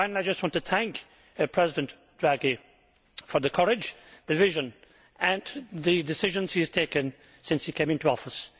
Finally I just want to thank President Draghi for the courage, the vision and the decisions he has taken since he came into office.